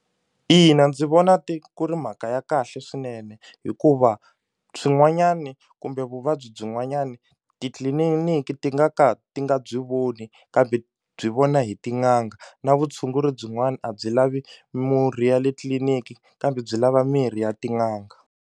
Ina, ndzi vona ti ku ri mhaka ya kahle swinene hikuva swin'wanyani kumbe vuvabyi byin'wanyani titliliniki ti nga ka ti nga byi voni kambe byi vona hi tin'anga na vutshunguri byin'wani a byi lavi murhi ya le tliliniki kambe byi lava mirhi ya tin'anga.